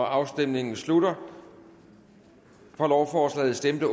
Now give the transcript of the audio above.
afstemningen slutter for lovforslaget stemte